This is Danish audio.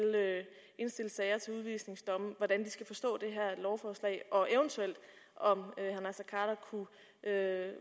sager til udvisningsdomme hvordan de skal forstå det her lovforslag og om herre